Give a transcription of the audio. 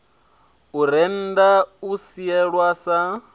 u rennda u sielwa sa